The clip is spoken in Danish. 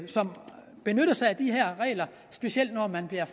som benytter sig af de her regler specielt når man bliver